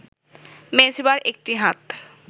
মেজবার একটি হাত